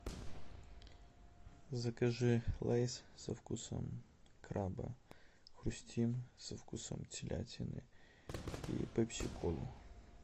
закажи лейс со вкусом краба хрустим со вкусом телятины и пепси колу